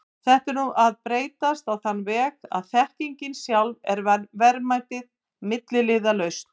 Þetta er nú að breytast á þann veg að þekkingin sjálf er verðmætið, milliliðalaust.